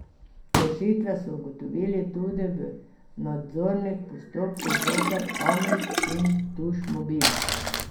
Kršitve so ugotovili tudi v nadzornih postopkih zoper Amis in Tušmobil.